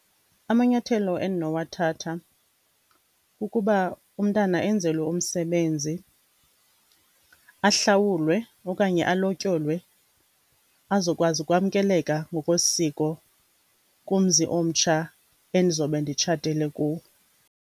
Amanyathelo endinowathatha kukuba umntana enzelwe umsebenzi, ahlawulwe okanye alotyolwe azokwazi ukwamkeleka ngokwesiko kumzi omtsha endizobe nditshatele kuwo.